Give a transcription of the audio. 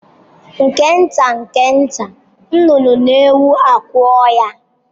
Nke nta nke nta, nnụnụ na-ewu akwụ ya.